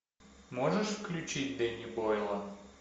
можешь включить дэнни бойла